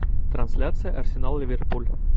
трансляция арсенал ливерпуль